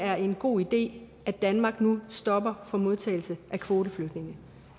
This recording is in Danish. er en god idé at danmark nu stopper for modtagelse af kvoteflygtninge